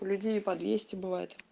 у людей и двести бывает